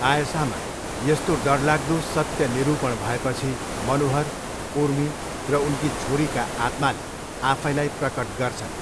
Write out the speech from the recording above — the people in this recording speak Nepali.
आयशामा यस्तो डरलाग्दो सत्य निरुपण भएपछि मनोहर, उर्मी र उनकी छोरीका आत्माले आफैलाई प्रकट गर्छन्।